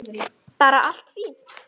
Bara allt fínt.